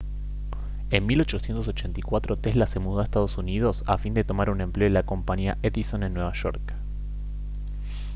en 1884 tesla se mudó a ee uu a fin de tomar un empleo en la compañía edison en nueva york